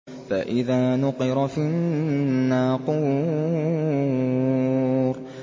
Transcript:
فَإِذَا نُقِرَ فِي النَّاقُورِ